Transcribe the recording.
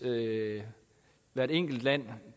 hvert enkelt land